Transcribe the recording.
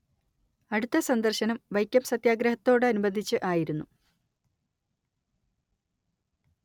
അടുത്ത സന്ദർശനം വൈക്കം സത്യാഗ്രഹത്തോടനുബന്ധിച്ച് ആയിരുന്നു